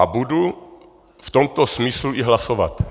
A budu v tomto smyslu i hlasovat.